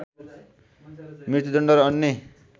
मृत्युदण्ड र अन्य